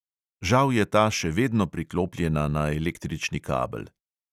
Žal je ta še vedno priklopljena na električni kabel.